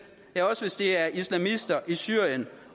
ja også hvis det er islamister i syrien